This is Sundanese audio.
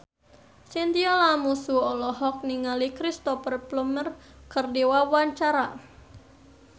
Chintya Lamusu olohok ningali Cristhoper Plumer keur diwawancara